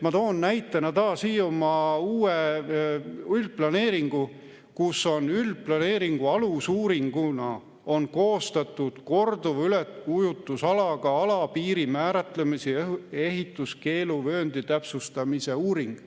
Ma toon näitena taas Hiiumaa uue üldplaneeringu, kus on üldplaneeringu alusuuringuna koostatud korduva üleujutusega ala piiri määratlemise ja ehituskeeluvööndi täpsustamise uuring.